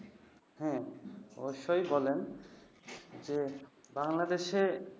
হ্যাঁ, অবশ্যই বলেন। যে বাংলাদেশে